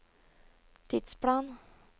tidsplan